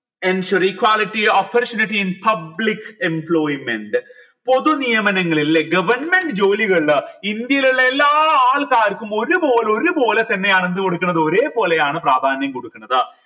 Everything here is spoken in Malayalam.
ensure equality opportunity in public employment പൊതു നിയമനങ്ങൾ ല്ലെ govt ജോലികൾ ഇന്ത്യയിലുള്ള എല്ലാ ആൾക്കാർക്കും ഒരുപോലെ ഒരു പോലെ തന്നെയാണ് എന്ത് കൊടുക്കണത് ഒരേപോലെയാണ് പ്രാധാന്യം കൊടുക്കുന്നത്